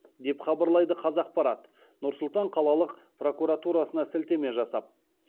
деп хабарлайды қазақпарат нұр сұлтан қалалық прокуратурасына сілтеме жасап